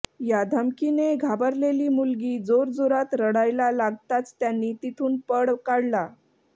या धमकीने घाबरलेली मुलगी जोरजोरात रडायला लागताच त्यांनी तिथून पळ काढला